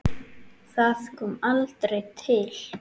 Það kom aldrei til.